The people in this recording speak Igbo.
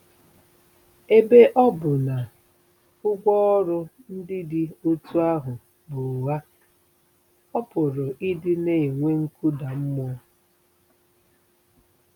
Ebe ọ bụ na ụgwọ ọrụ ndị dị otú ahụ bụ ụgha, ọ pụrụ ịdị na-enwe nkụda mmụọ.